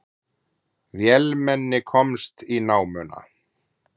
Vélmenni komst í námuna